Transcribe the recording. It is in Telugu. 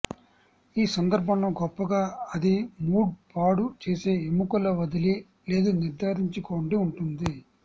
ఈ సందర్భంలో గొప్పగా అది మూడ్ పాడు చేసే ఎముకలు వదిలి లేదు నిర్ధారించుకోండి ఉంటుంది